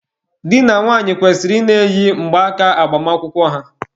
Di na nwunye kwesịrị ị na-eyi mgbaaka agbamakwụkwọ ha.